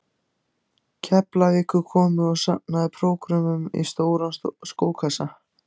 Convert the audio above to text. Keflavíkur komu og safnaði prógrömmunum í stóran skókassa.